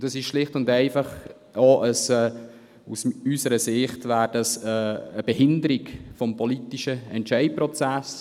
Es ist schlicht und einfach aus unserer Sicht eine Behinderung des politischen Entscheidungsprozesses.